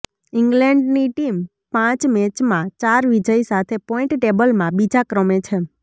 ઇંગ્લેન્ડની team પાંચ મેચમાં ચાર વિજય સાથે પોઇન્ટ ટેબલમાં બીજા ક્રમે છે